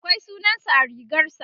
akwai sunansa a rigarsa